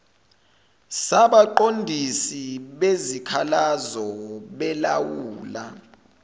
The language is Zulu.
sabaqondisi bezikhalazo belawula